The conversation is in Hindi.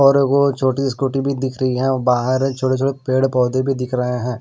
और एक वो छोटी सी स्कूटी भी दिख रही है बाहर छोटे छोटे पेड़ पौधे भी दिख रहे हैं।